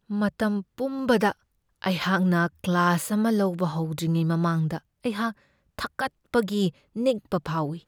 ꯃꯇꯝ ꯄꯨꯝꯕꯗ ꯑꯩꯍꯥꯛꯅ ꯀ꯭ꯂꯥꯁ ꯑꯃ ꯂꯧꯕ ꯍꯧꯗ꯭ꯔꯤꯉꯩ ꯃꯃꯥꯡꯗ ꯑꯩꯍꯥꯛ ꯊꯀꯠꯄꯒꯤ ꯅꯤꯛꯄ ꯐꯥꯎꯢ ꯫